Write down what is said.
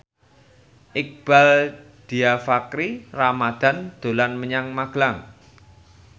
Iqbaal Dhiafakhri Ramadhan dolan menyang Magelang